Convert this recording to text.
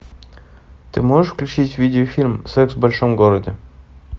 ы